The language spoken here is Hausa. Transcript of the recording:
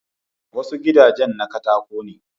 Wasu gidajen na katako ne